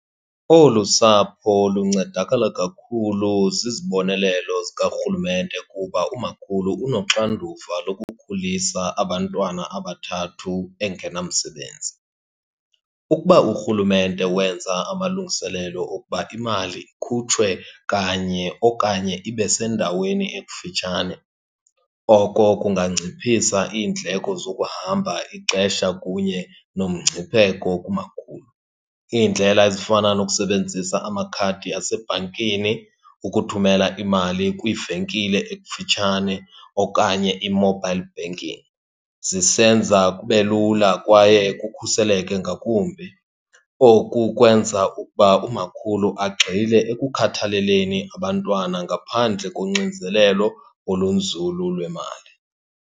Olu sapho luncedakala kakhulu zizibonelelo zikarhulumente kuba umakhulu unoxanduva lokukhulisa abantwana abathathu engenamsebenzi. Ukuba urhulumente wenza amalungiselelo okuba imali ikhutshwe kanye okanye ibe sendaweni ekufitshane, oko kungangciphisa iindleko zokuhamba ixesha kunye nomngcipheko kumakhulu. Iindlela ezifana nokusebenzisa amakhadi asebhankini, ukuthumela imali kwivenkile ekufitshane, okanye i-mobile banking zisenza kube lula kwaye kukhuseleke ngakumbi. Oku kwenza ukuba umakhulu agxile ekukhathaleleni abantwana ngaphandle konxinzelelo olunzulu lwemali.